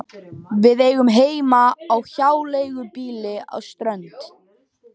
Við eigum heima á hjáleigubýli á Strönd.